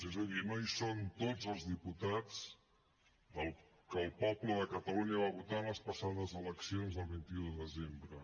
és a dir no hi són tots els diputats que el poble de catalunya va votar en les passades eleccions del vint un de desembre